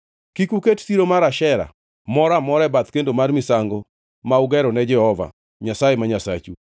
Kik uket siro mar Ashera moro amora e bath kendo mar misango ma ugerone Jehova Nyasaye ma Nyasachu,